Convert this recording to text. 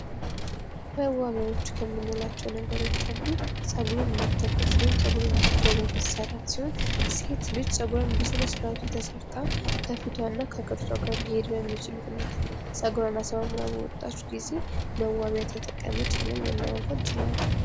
መዋቢያዎች ከምንላቸው ነገሮች አንዱ ጸጉርን መተኮስ ውይም በአግባቡ ጸጉርን መሰራት ሲሆን ጸጉሯን በስነ-ስር ዓት ተሰርታ ከፊቷ እና ከቅርጿ ጋር ሊሄድ በሚችል ሁኔታ ጸጉሯን አሳምራ በወጣች ጊዜ መዋቢያ ተጠቀመች ልንለው እንችላለን።